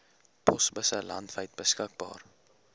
posbusse landwyd beskikbaar